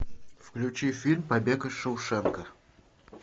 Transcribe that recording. включи фильм побег из шоушенка